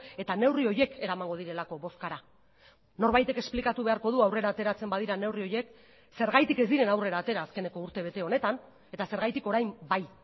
eta neurri horiek eramango direlako bozkara norbaitek esplikatu beharko du aurrera ateratzen badira neurri horiek zergatik ez diren aurrera atera azkeneko urtebete honetan eta zergatik orain bai